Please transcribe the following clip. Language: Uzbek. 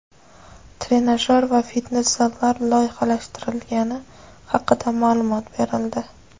trenajyor va fitnes zallar loyihalashtirilgani haqida maʼlumot berildi.